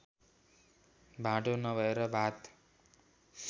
भाँडो नभएर भात